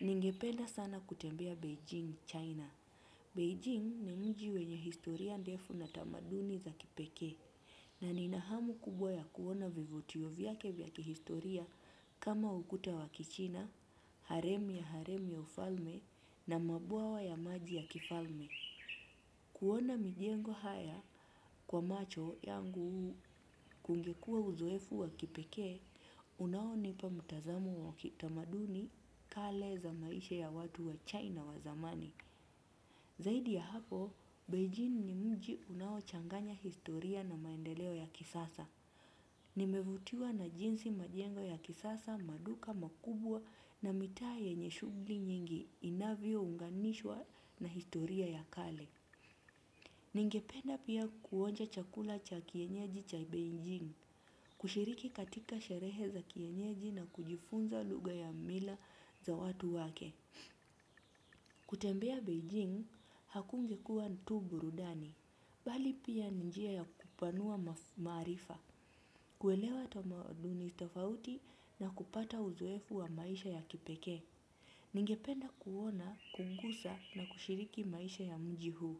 Ningependa sana kutembea Beijing, China. Beijing ni mji wenye historia ndefu na tamaduni za kipekee. Na nina hamu kubwa ya kuona vivutio vyake vya kihistoria kama ukuta wa kichina, harem ya harem ya ufalme na mabwawa ya maji ya kifalme. Kuona mijengo haya kwa macho yangu kungekuwa uzoefu wa kipekee, unaonipa mtazamo wa kitamaduni kale za maisha ya watu wa China wa zamani. Zaidi ya hapo, Beijing ni mji unaochanganya historia na maendeleo ya kisasa. Nimevutiwa na jinsi majengo ya kisasa, maduka, makubwa na mitaa yenye shughuli nyingi inavyounganishwa na historia ya kale. Ningependa pia kuonja chakula cha kienyeji cha Beijing, kushiriki katika sherehe za kienyeji na kujifunza lugha ya mila za watu wake. Kutembea Beijing, hakungekuwa tu burudani, bali pia ni njia ya kupanua maarifa, kuelewa tamaduni tofauti na kupata uzoefu wa maisha ya kipekee. Ningependa kuona, kungusa na kushiriki maisha ya mji huu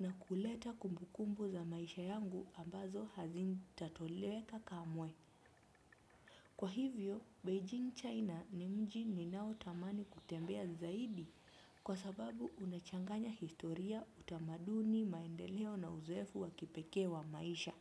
na kuleta kumbukumbu za maisha yangu ambazo hazitatoleka kamwe. Kwa hivyo, Beijing China ni mji ninaotamani kutembea zaidi kwa sababu unachanganya historia utamaduni maendeleo na uzoefu wa kipekee wa maisha.